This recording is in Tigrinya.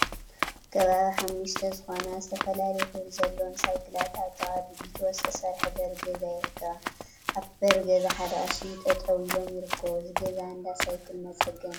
ከባቢ ሓሙሽተ ዝኮና ዝተፈላለየ ሕብሪ ዘለወን ሳይክላት አብ ጥቃ ብቢትሮ ዝተሰርሐ በሪ ገዛ ይርከባ፡፡ አብቲ በሪ ገዛ ሓደ ቀሺ ጠጠው ኢሎም ይርከቡ፡፡ እዚ ገዛ እንዳ ሳይክል መፀገኒ ድዩ?